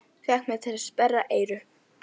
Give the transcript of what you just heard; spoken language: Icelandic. Fékk mig til að sperra eyru.